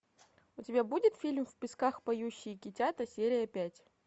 у тебя будет фильм в песках поющие китята серия пять